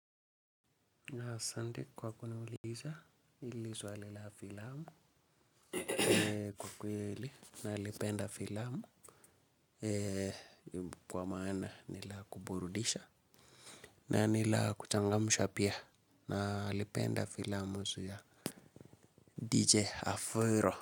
Asante kwa kuniuliza hili swali la filamu kwa kweli nalipenda filamu kwa maana nilakuburudisha na ni la kuchangamsha pia na lipenda filamu aa DJ Afuro.